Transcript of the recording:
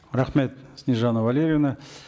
рахмет снежанна валрьевна